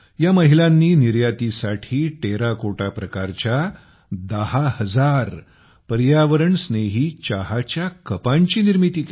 या महिलांनी निर्यातीसाठी टेराकोटा प्रकारच्या दहा हजार पर्यावरणस्नेही चहाच्या कपांची निर्मिती केली